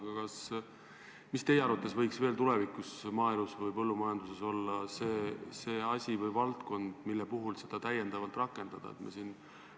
Aga mis teie arvates võiks veel tulevikus maaelus või põllumajanduses olla see asi või see valdkond, mille puhul seda täiendavalt rakendada?